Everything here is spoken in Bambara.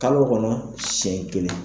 Kalo kɔnɔ siɲɛ kelen